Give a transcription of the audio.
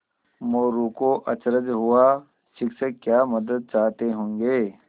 मोरू को अचरज हुआ शिक्षक क्या मदद चाहते होंगे